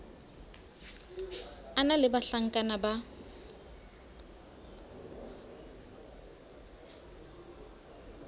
a na le bahlankana ba